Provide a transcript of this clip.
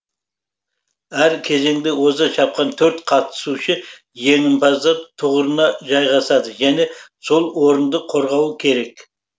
әр кезеңде оза шапқан төрт қатысушы жеңімпаздар тұғырына жайғасады және сол орынды қорғауы керек